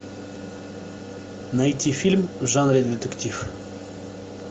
найти фильм в жанре детектив